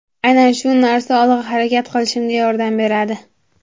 Aynan shu narsa olg‘a harakat qilishimga yordam beradi.